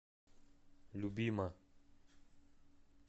любима